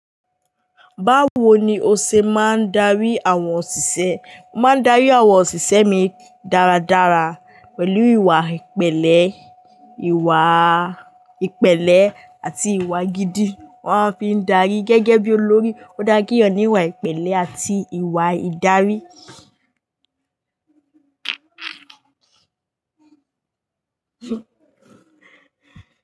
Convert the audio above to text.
Báwo ni o ṣe máa ń darí àwọn òṣìṣẹ́? Mo máa ń darí àwọn òṣìṣẹ́ mi dáradára pẹ̀lú ìwà ìpẹ̀lẹ́, ìwaà ìpẹ̀lẹ́ àti ìwà gidi. Wọ́n fi n darí gẹ́gẹ́ bí olórí. Ó dáa kí eeyan ní ìwà ìpẹ̀lẹ́ àti ìwà ìdarí.